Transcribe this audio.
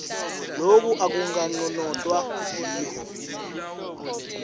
loku akukanconotwa yiwho